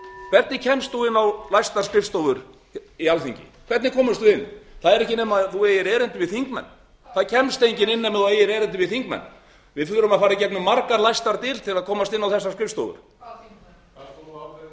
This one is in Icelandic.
hvernig kemst þú inn á læstar skrifstofur í alþingi hvernig komumst við inn það er ekki nema þú eftir erindi við þingmenn það kemst enginn inn nema þú eftir erindi við þingmenn við þurfum að fara í gegnum margar læstar dyr til að komast inn á þessar skrifstofur hvaða